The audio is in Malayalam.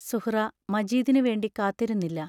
സുഹ്റാ മജീദിനു വേണ്ടി കാത്തിരുന്നില്ല.